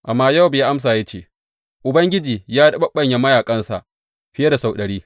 Amma Yowab ya amsa ya ce, Ubangiji ya riɓaɓɓanya mayaƙansa fiye da sau ɗari.